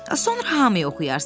Sonra hamıya oxuyarsan.